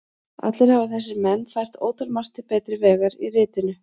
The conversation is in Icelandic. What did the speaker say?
Allir hafa þessir menn fært ótalmargt til betri vegar í ritinu.